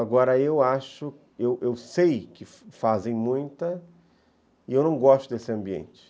Agora, eu acho, eu eu sei que fazem muita e eu não gosto desse ambiente.